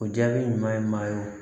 O jaabi ɲuman ye maa ye o